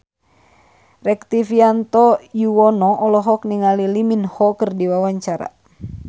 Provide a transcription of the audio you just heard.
Rektivianto Yoewono olohok ningali Lee Min Ho keur diwawancara